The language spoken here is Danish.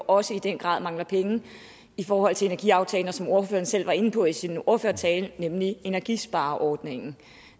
også i den grad mangler penge i forhold til energiaftalen og som ordføreren selv var inde på i sin ordførertale nemlig energispareordningen